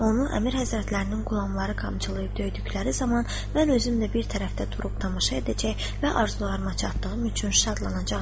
Onu əmir həzrətlərinin qulamları qamçılayıb döydükləri zaman mən özümlə bir tərəfdə durub tamaşa edəcək və arzularıma çatdığım üçün şadlanacağam.